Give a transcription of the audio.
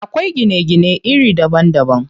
Akwai gine gine iri daban daban.